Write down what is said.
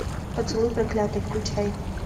поцелуй проклятый включай